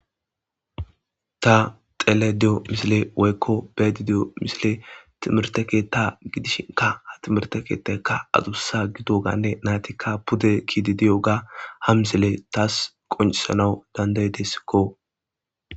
Ta xele deyo misile woykko bedi diyo misile timirte keetta gidishinka ha timirte keettakka aduussa gido gaanne naytikka pude kiidi diyo ga ham isile taas qoncisanau dandaydessikko.